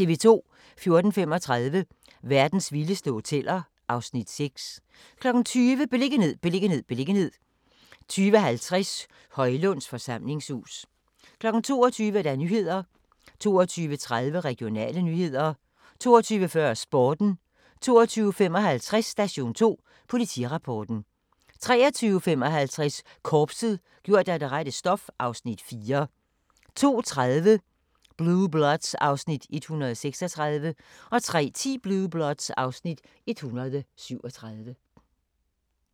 14:35: Verdens vildeste hoteller (Afs. 6) 20:00: Beliggenhed, beliggenhed, beliggenhed 20:50: Højlunds Forsamlingshus 22:00: Nyhederne 22:30: Regionale nyheder 22:40: Sporten 22:55: Station 2: Politirapporten 23:55: Korpset - gjort af det rette stof (Afs. 4) 02:30: Blue Bloods (Afs. 136) 03:10: Blue Bloods (Afs. 137)